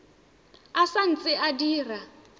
e sa ntse e dira